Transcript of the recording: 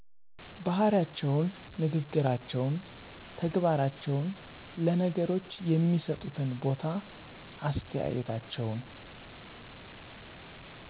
ባህሪያቸውን፣ ንግግራቸውን፣ ተግባራቸውን፣ ለነገሮች የሚሠጡትን ቦታ፣ አስተያየታቸውን